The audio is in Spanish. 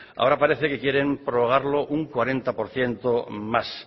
ahora parece que quieren prorrogarlo un cuarenta por ciento más